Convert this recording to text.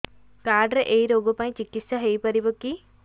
card ରେ ଏଇ ରୋଗ ପାଇଁ ଚିକିତ୍ସା ହେଇପାରିବ କି